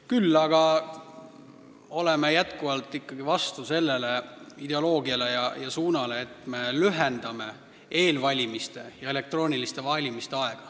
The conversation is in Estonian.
Küll aga oleme jätkuvalt vastu sellele ideoloogiale ja suunale, et me lühendame eelvalimise ja elektroonilise valimise aega.